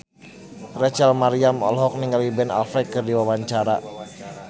Rachel Maryam olohok ningali Ben Affleck keur diwawancara